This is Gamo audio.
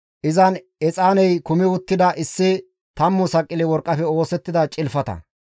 Izan exaaney kumi uttida issi tammu saqile worqqafe oosettida cilfata,